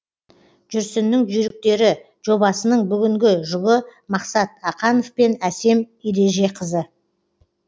жүрсіннің жүйріктері жобасының бүгінгі жұбы мақсат ақанов пен әсем ережеқызы